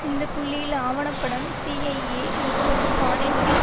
இந்த புள்ளியில் ஆவண படம் சிஐஏ முகவர் ஸ்பானின் லிண்